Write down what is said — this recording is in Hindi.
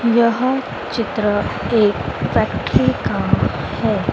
यह चित्र एक फैक्ट्री का है।